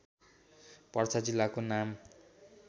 पर्सा जिल्लाको नाम